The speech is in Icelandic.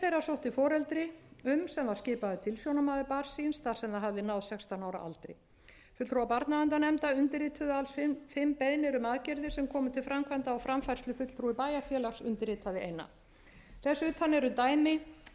sótti foreldri um sem skipaður tilsjónarmaður barns síns þar sem það hafði náð sextán ára aldri fulltrúar barnaverndarnefnda undirrituðu alls fimm beiðnir um aðgerðir sem komu til framkvæmda og framfærslufulltrúi bæjarfélags undirritaði eina þess utan eru dæmi